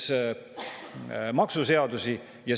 Nii et see on ilus jutt, mida annab avalikkusele maha müüa.